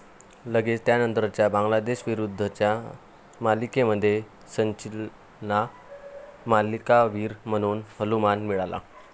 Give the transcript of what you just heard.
लगेचच त्यानंतरच्या बांगलादेशविरुद्धच्या मालिकेमध्ये सचिनला मालिकावीर म्हणून बहुमान मिळाला.